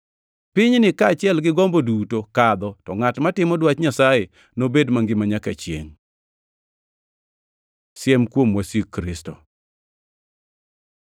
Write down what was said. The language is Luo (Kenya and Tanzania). Pinyni kaachiel gi gombo duto kadho, to ngʼat matimo dwach Nyasaye nobed mangima nyaka chiengʼ. Siem kuom wasik Kristo